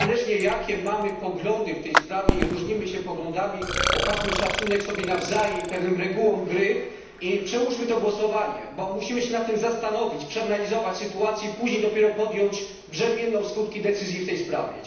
Niezależnie jakie mamy poglądy w tej sprawie i różnimy się poglądami, okażmy szacunek sobie nawzajem i pewnym regułom gry i przełóżmy to głosowanie, bo musimy się nad tym zastanowić, przeanalizować sytuację i później dopiero podjąć brzemienną w skutki decyzję w tej sprawie.